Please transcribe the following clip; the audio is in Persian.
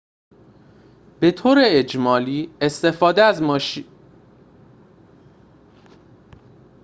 به‌طور اجمالی استفاده از ماشین‌تان راهی عالی برای مسافرت جاده‌ای است اما به ندرت پیش می‌آید که این شیوه به خودی خود راهی برای اردو زدن باشد